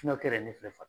ne filɛ